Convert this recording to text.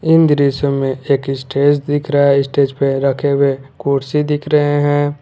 इन दृश्यों में एक स्टेज दिख रहा है स्टेज पे रखे हुए कुर्सी दिख रहे हैं।